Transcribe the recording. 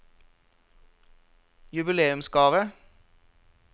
jubileumsgave